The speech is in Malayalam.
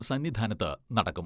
സന്നിധാനത്ത് നടക്കും.